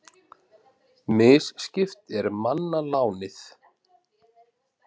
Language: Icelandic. Misskipt er manna lánið.